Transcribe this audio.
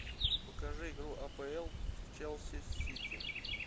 покажи игру апл челси с сити